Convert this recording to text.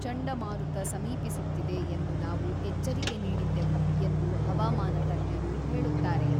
ಚಂಡಮಾರುತ ಸಮೀಪಿಸುತ್ತಿದೆ ಎಂದು ನಾವು ಎಚ್ಚರಿಕೆ ನೀಡಿದ್ದೆವು ಎಂದು ಹವಾಮಾನ ತಜ್ಞರು ಹೇಳುತ್ತಾರೆ.